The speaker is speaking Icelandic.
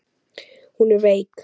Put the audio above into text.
Hún er veik.